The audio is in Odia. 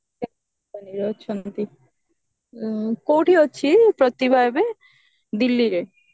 ଅଛନ୍ତି କଉଠି ଅଛି ପ୍ରତିଭା ଏବେ delhi ରେ